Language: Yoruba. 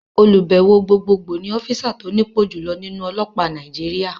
Olùbẹ̀wò Gbogbogbò ni ọ́físà tó nípò jùloọ̀ nínú ọlọ́pàá Nàìjíríà